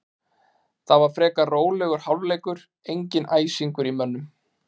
Það var frekar rólegur hálfleikur, enginn æsingur í mönnum.